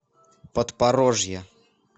подпорожья